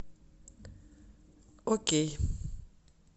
окей